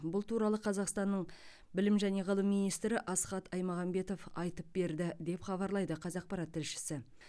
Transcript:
бұл туралы қазақстанның білім және ғылым министрі асхат аймағамбетов айтып берді деп хабарлайды қазақпарат тілшісі